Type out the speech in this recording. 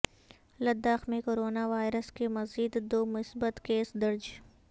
لداخ میں corona virus کے مزید دو مثبت کیس درج